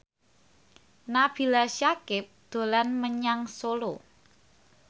Nabila Syakieb dolan menyang Solo